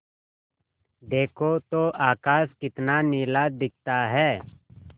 देखो तो आकाश कितना नीला दिखता है